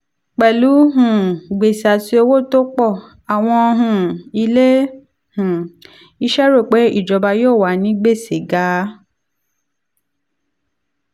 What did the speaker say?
pẹ̀lú um gbèsè àti owó tó ń pọ̀ àwọn um ilé um iṣẹ́ rò pé ìjọba yóò wà ní gbèsè ga.